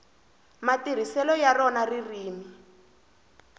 matirhiselo ya rona ririmi